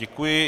Děkuji.